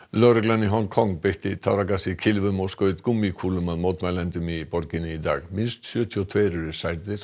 lögreglan í Hong Kong beitti táragasi kylfum og skaut gúmmíkúlum að mótmælendum í borginni í dag tuttugu og tveir eru særðir